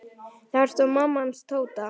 Þar stóð amma hans Tóta.